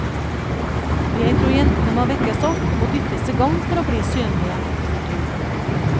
Jeg tror jentene må vekkes opp og dyttes i gang for å bli synlige. punktum